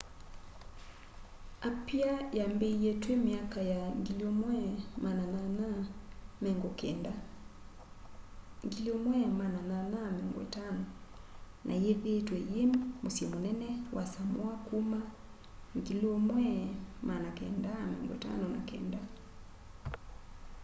apia yambiie twi 1850s na yithiitwe yi musyi munene wa samoa kuma 1959